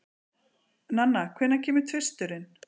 Nanna, hvenær kemur tvisturinn?